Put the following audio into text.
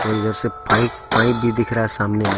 और इधर से पाइप पाइप भी दिख रहा है सामने मे --